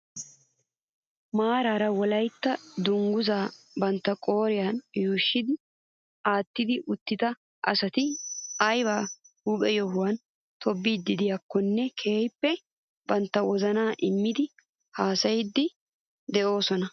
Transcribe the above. Maarara wolaytta dunguzaa bantta qooriyaan yuushshi aattidi uttida asati ayba huuphphe yohuwaan tobettiidi de'iyaakonne keehippe bantta wozanaa immidi hasayiidi de'oosona.